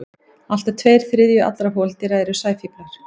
Allt að tveir þriðju allra holdýra eru sæfíflar.